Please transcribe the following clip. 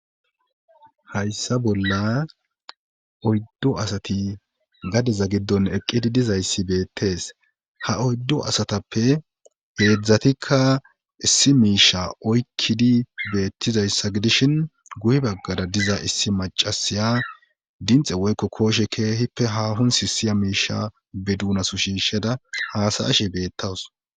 Hayssa bolla oyddu asati gadeza giddon eqqidi dizayssi beettees ha oyddu asatappe heedzatikka issi miisha oykkidi beettizayssa gidishin guye baggara diza issi maccasiya dinxxe woykko kooshe haaahon sissiya miisha be duunaso shiishada haasa7ashe beettaws.